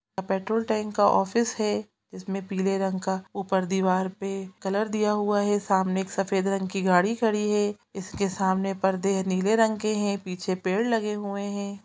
--Petrol tank का office है जिसमें पीले रंग का ऊपर दीवार पर कलर दिया हुआ है सामने एक सफेद रंग की गाड़ी खड़ी है जिसके सामने पर्दे नीले रंग के है पीछे पेड़ लगे हुए हैं।